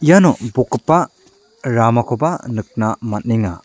iano bokgipa ramakoba nikna man·enga.